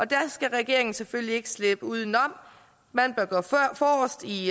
der skal regeringen selvfølgelig ikke slippe uden om man bør gå forrest i